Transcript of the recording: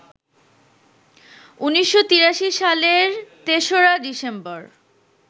১৯৮৩ সালের ৩রা ডিসেম্বর